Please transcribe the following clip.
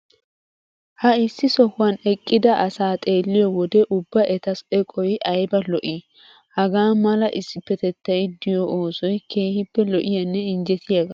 Ha issi sohuwan eqqida asaa xeelliyo wode ubba eta eqoy ayba lo'ii? Hagaa mala issippetettay de'iyo oosoy keehippe lo'iyanne injjetiyagaa.